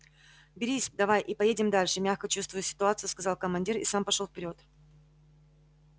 берись давай и поедем дальше мягко чувствуя ситуацию сказал командир и сам пошёл вперёд